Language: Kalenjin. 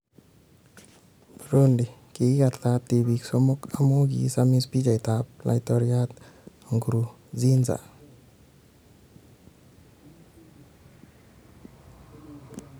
Burundi: Kogirat tibiik somok amu kiisamis pichait ab laitoryat Nkurunzinza